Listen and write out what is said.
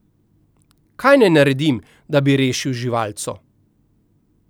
Kaj naj naredim, da bi rešil živalco?